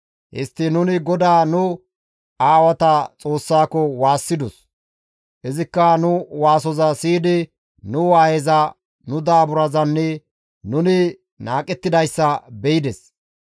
Histtiin nuni GODAA nu aawata Xoossako waassidos; izikka nu waasoza siyidi nu waayeza, nu daaburazanne nuni qohettidayssa be7ides.